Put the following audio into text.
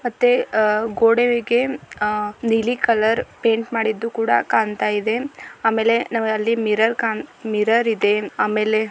ಮತ್ತೆ ಆಹ್ಹ್ ಆ ಗೋಡೆದಿಕ್ಕೆ ಅ ನೀಲಿ ಕಲರ್ ಪೈಂಟ್ ಮಾಡಿದ್ದೂ ಕೂಡ ಕಾಣ್ತಾಯಿದೆ-- ಆಮೇಲೆ ನಮಗ್ ಅಲ್ಲಿ ಮಿರರ್ ಕಾಣ್ತಾ ಮಿರರ್ ಇದೆ.